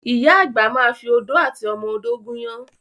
Ìyá àgbà ma fi odó àti ọmọ odó gúnyán.